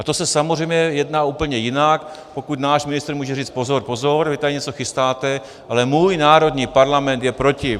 A to se samozřejmě jedná úplně jinak, pokud náš ministr může říct "pozor, pozor, vy tady něco chystáte, ale můj národní parlament je proti".